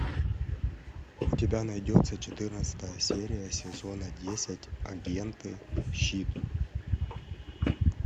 у тебя найдется четырнадцатая серия сезона десять агенты щит